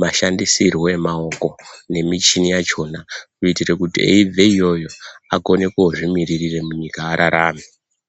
mashandisirwe emaoko nemichini yachona kuitira kuti eibve iyoyo akone kozvimiririra munyika ararame.